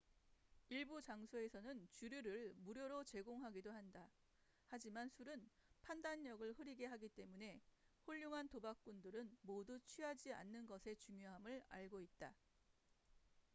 일부 장소에서는 주류를 무료로 제공하기도 한다 하지만 술은 판단력을 흐리게 하기 때문에 훌륭한 도박꾼들은 모두 취하지 않는 것의 중요함을 알고 있다